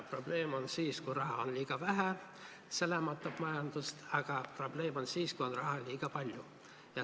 Probleem on see siis, kui raha on liiga vähe – see lämmatab majandust –, aga probleem on ka siis, kui on raha liiga palju.